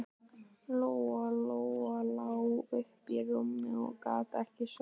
Lóa Lóa lá uppi í rúmi og gat ekki sofnað.